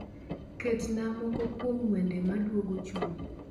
Ketnaa moko kuom wende maduogo chuny